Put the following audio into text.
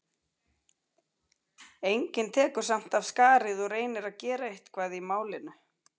Enginn tekur samt af skarið og reynir að gera eitthvað í málinu.